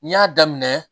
N'i y'a daminɛ